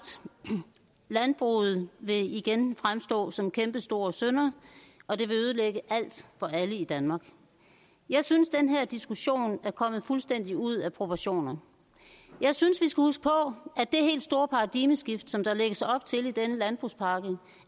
landbruget vil igen fremstå som en kæmpestor synder og det vil ødelægge alt for alle i danmark jeg synes at den her diskussion er kommet fuldstændig ud af proportioner jeg synes huske på at det helt store paradigmeskift som der lægges op til i den landbrugspakke